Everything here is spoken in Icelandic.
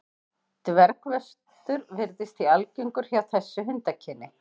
Dvergvöxtur virðist því algengur hjá þessu hundakyni.